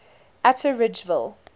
atteridgeville